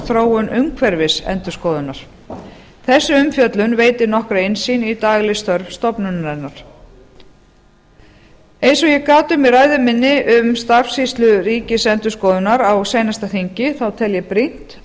þróun umhverfis endurskoðunar þessi umfjöllun veitir nokkra innsýn í dagleg störf stofnunarinnar eins og ég gat um í ræðu minni um starfsskýrslu ríkisendurskoðunar á seinasta þingi þá tel ég brýnt